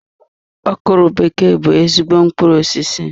Okwuru bekee bụ ezigbo mkpụrụ osisi.